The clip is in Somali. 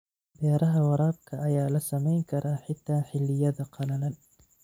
Beeraha waraabka ayaa la samayn karaa xitaa xilliyada qalalan.